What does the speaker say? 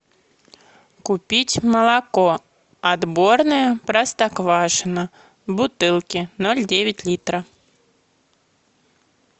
купить молоко отборное простоквашино в бутылке ноль девять литра